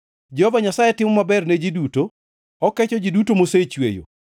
Jehova Nyasaye timo maber ne ji duto; okecho ji duto mosechweyo.